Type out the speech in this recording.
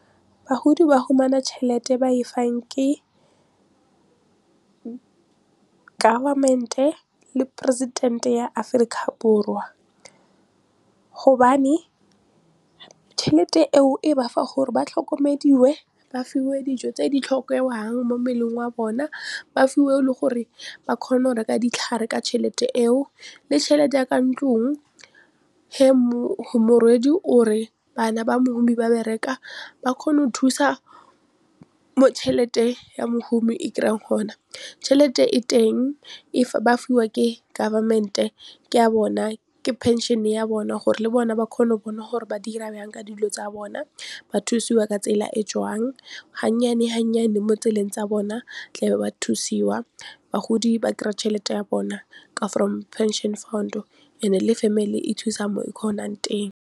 Bagodi ba fumana tšhelete e ba e fang ke government-e le president-e ya Aforika Borwa hobane tšhelete eo e bafa gore ba tlhokomediwe ba fiwe dijo tse di mo mmeleng wa bona ba fiwe le gore ba kgone go reka ditlhare ka tšhelete eo le tšhelete ya ka ntlong o re bana ba mohumi ba bereka ba kgona go thusa mo tšhelete ya mohumi e kry-ang hona tšhelete e teng if ba fiwa ke government-e ke ya bona ke pension ya bona gore le bona ba kgone go bona gore ba dira bjang ka dilo tsa bona ba thusiwa ka tsela e jwang ha nnyane ha nnyane mo tseleng tsa bona tla be ba thusiwa bagodi ba kry-a tšhelete ya bona ka from pension fund-e and-e le family e thusa mo e kgonang teng.